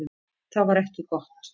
Það var ekki gott.